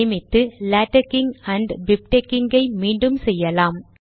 சேமித்து latexing and bibtexing ஐ மீண்டும் செய்யலாம்